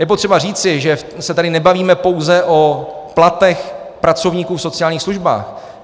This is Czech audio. Je potřeba říci, že se tady nebavíme pouze o platech pracovníků v sociálních službách.